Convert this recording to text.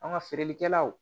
An ka feerelikɛlaw